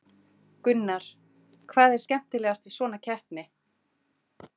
Gunnar: Hvað er skemmtilegast við svona keppni?